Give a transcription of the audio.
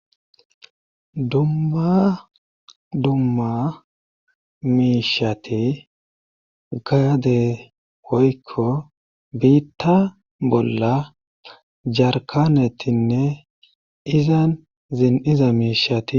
Dumma dumma miishati gaade hoykko biitta bolla jarkanetinne izan zin iza miishati.